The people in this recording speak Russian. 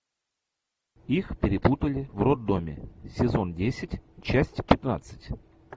их перепутали в роддоме сезон десять часть пятнадцать